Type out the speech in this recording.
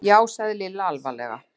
Já sagði Lilla alvarlega.